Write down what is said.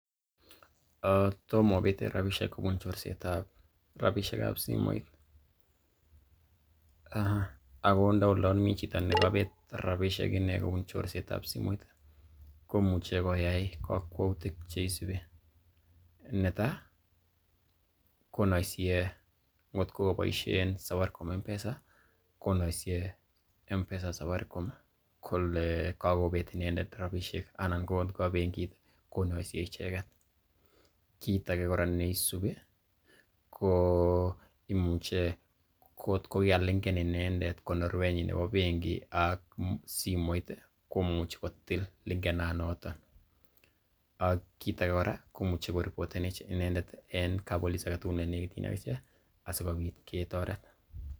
Tomo obete rabishek kobun chorset ab rabiseik ab simoit ago ndo olon komi chito negobet rabishek inee kobun chorset ab simoit komuche koyai kokwoutik che isubi; Netai konuisie ngotko koboiisien Safaricom M-Pesa konoisie M-Pesa Safaricom kole kogobet inendet rabishek, anan kotko ko bengit konoisiie icheget. Kiit age kora neisubi ko imuche kotko kigalinken inendet konorwet nebo bengit ak simoit komuchi kotil linkenanoto ak kit age kora komuchi koreporten inendet en kap police age tugul ne negityin ak ichek asikobit ketoret.